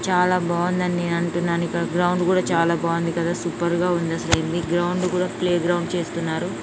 చాలా బాగుందండి నేను అంటున్నాను ఇంకా గ్రౌండ్ కూడా చాలా బాగుంది కదా సూపర్ గా ఉండేసరికి గ్రౌండ్ కూడా ప్లే గ్రౌండ్ చేస్తున్నారు